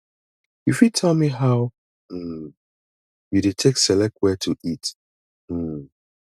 you fit tell me how um you dey take select where to eat um